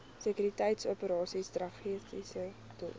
sekuriteitsoperasies strategiese doel